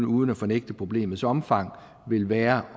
uden at fornægte problemets omfang vil være